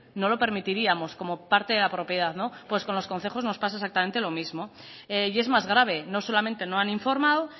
no lo permitiríamos como parte de la propiedad pues con los concejos nos pasa exactamente lo mismo y es más grave no solamente no han informado